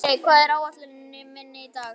Dýri, hvað er á áætluninni minni í dag?